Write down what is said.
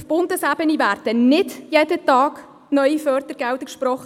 Auf Bundesebene werden nicht jeden Tag neue Fördergelder gesprochen;